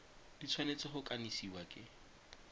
di tshwanetse go kanisiwa ke